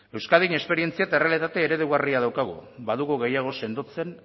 euskadin esperientzia eta errealitate eredugarria daukagu badugu gehiago sendotzen